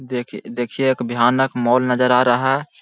देखिए देखिए एक भयानक मॉल नजर आ रहा है।